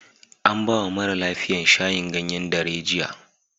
An ba wa mara lafiyan shayin ganyen darejiya.